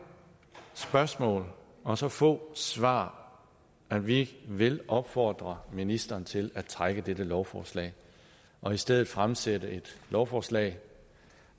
spørgsmål og så få svar at vi vil opfordre ministeren til at trække dette lovforslag og i stedet fremsætte et lovforslag